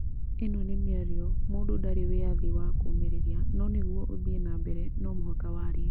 Īno nĩ mĩario mũndũ ndarĩ wĩyathi wa kũmĩrĩrĩria no nĩgue ũthie na mbere no mũhaka warie